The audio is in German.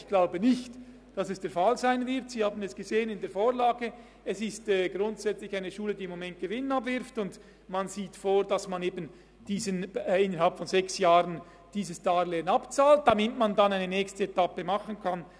Ich glaube nicht, dass dies der Fall sein wird, Sie haben in der Vorlage gesehen, dass es sich um eine Schule handelt, die im Moment Gewinn abwirft, und es ist vorgesehen, dass man dieses Darlehen innerhalb von sechs Jahren abbezahlt, damit man dann eine nächste Etappe machen kann.